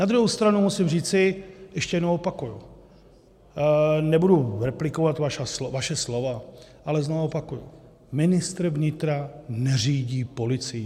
Na druhou stranu musím říci, a ještě jednou opakuji, nebudu replikovat vaše slova, ale znova opakuji, ministr vnitra neřídí policii.